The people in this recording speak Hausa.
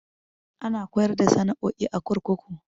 Ana koyar da sana'o'i a kurkuku.